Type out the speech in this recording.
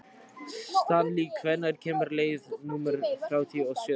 Stanley, hvenær kemur leið númer þrjátíu og sjö?